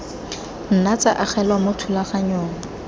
nna tsa agelelwa mo thulaganyong